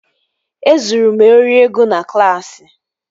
E zuru m ori ego na klaasị